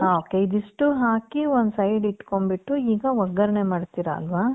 ok. ಇದಿಷ್ಟೂ ಹಾಕಿ ಒಂದ್ side ಇಟ್ಕೊಂಡ್ಬಿಟ್ಟು. ಈಗ ಒಗ್ಗರಣೆ ಮಾಡ್ತೀರ ಆಲ್ವಾ?